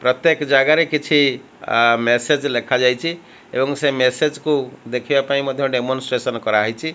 ପ୍ରତ୍ୟେକ ଜାଗାରେ କିଛି ମେସେଜ ଲେଖାଯାଇଛି ଏବଂ ସେ ମେସେଜ କୁ ଦେଖିବାପାଇଁ ଡେମନଷ୍ଟ୍ରଟ କରାଯାଇଛି।